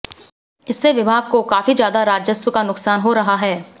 इससे विभाग को काफी ज्यादा राजस्व का नुकसान हो रहा है